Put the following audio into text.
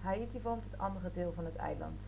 haïti vormt het andere deel van het eiland